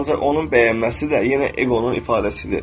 Ancaq onun bəyənməsi də yenə eqonun ifadəsidir.